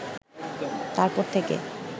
তারপর থেকে